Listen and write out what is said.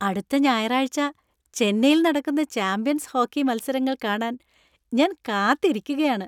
അടുത്ത ഞായറാഴ്ച ചെന്നൈയിൽ നടക്കുന്ന ചാമ്പ്യൻസ് ഹോക്കി മത്സരങ്ങൾ കാണാൻ ഞാൻ കാത്തിരിക്കുകയാണ്.